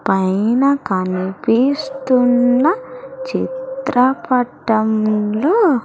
పైన కనిపిస్తున్న చిత్రపటంలో--